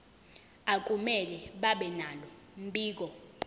akumele babenalo mbiko